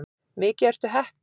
Mikið ertu heppinn.